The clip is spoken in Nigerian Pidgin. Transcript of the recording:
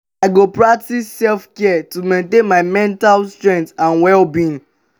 i go practice self-care to maintain my mental strength and well-being.